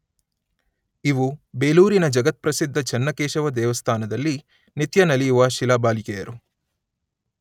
ಇವು ಬೇಲೂರಿನ ಜಗತ್ಪ್ರಸಿದ್ಧ ಚನ್ನಕೇಶವ ದೇವಸ್ಥಾನದಲ್ಲಿ ನಿತ್ಯ ನಲಿಯುವ ಶಿಲಾಬಾಲಿಕೆಯರು.